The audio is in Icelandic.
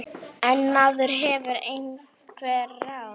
En maður hefur einhver ráð.